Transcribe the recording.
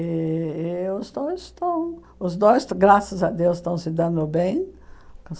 E os dois estão... Os dois, graças a Deus, estão se dando bem.